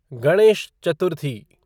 Ganesh Chaturthi